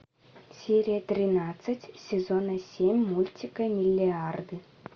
серия тринадцать сезона семь мультика миллиарды